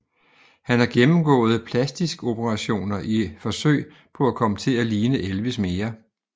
Han har gennemgået plastiskoperationer i forsøg på at komme til at ligne Elvis mere